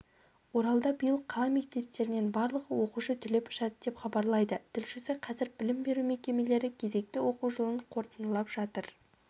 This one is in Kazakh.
оралда биыл қала мектептерінен барлығы оқушы түлеп ұшады деп хабарлайды тілшісі қазір білім беру мекемелері кезекті оқу жылын қорытындылап жатыр